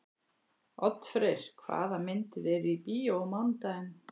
Oddfreyr, hvaða myndir eru í bíó á mánudaginn?